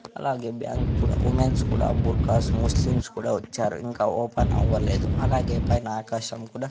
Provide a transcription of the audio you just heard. అలాగే బ్యాంక్ కూడా వుమెన్స్ కూడా బుర్కాస్ ముస్లింస్ కూడా వచ్చారు ఇంకా ఓపెన్ అవ్వలేదు అలాగే పైన ఆకాశం కూడా--